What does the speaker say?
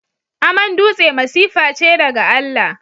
Aman dutse masifa ce daga Allah.